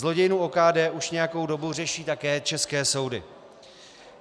Zlodějnu OKD už nějakou dobu řeší také české soudy.